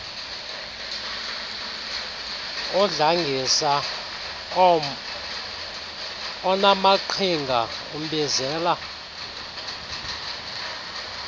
udlangisa onaamaqhinga umbizela